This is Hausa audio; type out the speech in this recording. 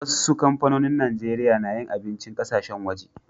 Wassu kampanin Nijeriya na yin abincin ƙasashen waje.